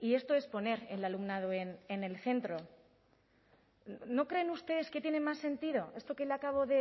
esto es poner el alumnado en el centro no creen ustedes que tiene más sentido esto que le acabo